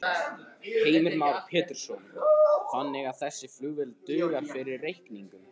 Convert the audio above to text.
Heimir Már Pétursson: Þannig að þessi flugvél dugar fyrir reikningnum?